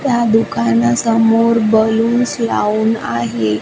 त्या दुकानासमोर बलून्स लावून आहे.